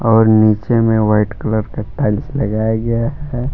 और नीचे में वाइट कलर का टाइल्स लगाया गया है।